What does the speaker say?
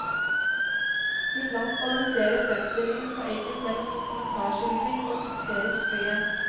Iblant balanserer fremstillingen på eggen mellom dokumentarskildring og dikterisk frihet.